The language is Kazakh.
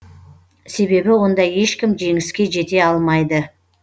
себебі онда ешкім жеңіске жете алмайды